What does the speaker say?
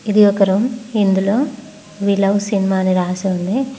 ఇది ఒక రూమ్ ఇందులో వీ లవ్ సినిమా అని రాసి ఉంది.